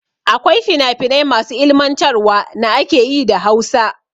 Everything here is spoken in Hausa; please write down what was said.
Akwai fina finai masu ilimantarwa na ake yi da Hausa.